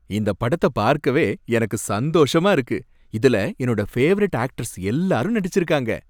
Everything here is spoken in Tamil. இந்த படத்தை பார்க்கவே எனக்கு சந்தோஷமா இருக்கு. இதுல என்னோட பேவரைட் ஆக்டர்ஸ் எல்லாரும் நடிச்சிருக்காங்க.